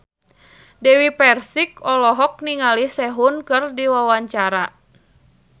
Dewi Persik olohok ningali Sehun keur diwawancara